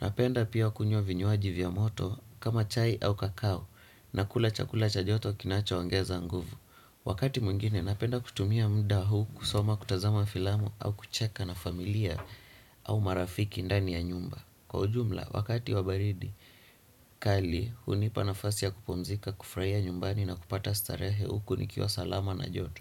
Napenda pia kunywa vinyuaji vya moto, kama chai au kakao, na kula chakula cha joto kinacho ongeza nguvu. Wakati mwingine, napenda kutumia muda huu, kusoma kutazama filamu, au kucheka na familia, au marafiki ndani ya nyumba. Kwa ujumla, wakati wa baridi, kali hunipa nafasi ya kupumzika, kufuraia nyumbani na kupata starehe uku nikiwa salama na joto.